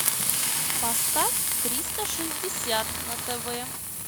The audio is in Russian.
поставь триста шестьдесят на тв